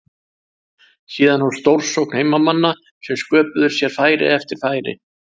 Síðan hófst stórsókn heimamanna sem sköpuðu sér færi eftir færi.